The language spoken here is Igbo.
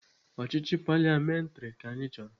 Ọchịchị paliamentrị ka anyị chọrọ.